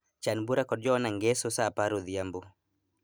Chan bura kod Joanna ngeso saa apar odhiambo